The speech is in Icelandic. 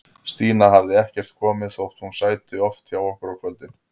Stína hafði ekkert komið, þótt hún sæti oft hjá okkur á kvöldin.